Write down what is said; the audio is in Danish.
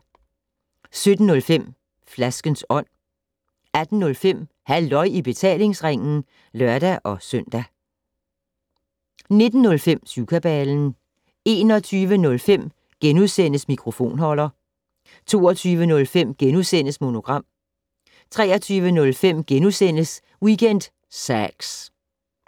17:05: Flaskens Ånd 18:05: Halløj i betalingsringen (lør-søn) 19:05: Syvkabalen 21:05: Mikrofonholder * 22:05: Monogram * 23:05: Weekend Sax *